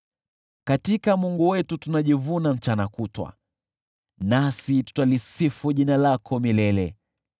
Katika Mungu wetu tunajivuna mchana kutwa, nasi tutalisifu jina lako milele.